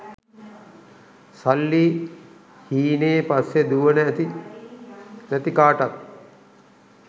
සල්ලි හීනේ පස්සෙ දුවන ඇති නැති කාටත්